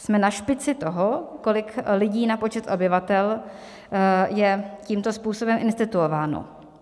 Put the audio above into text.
Jsme na špici toho, kolik lidí na počet obyvatel je tímto způsobem instituováno.